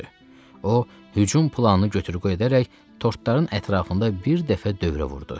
O hücum planını götür-qoy edərək tortların ətrafında bir dəfə dövrə vurdu.